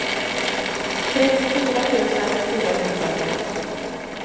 trettiofyra tusen fyrahundratvå